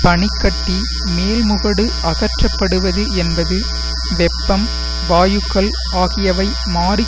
பனி கட்டி மேல் முகடு அகற்றப்படுவது என்பது வெப்பம் வாயுக்கள் ஆகியவை மாறி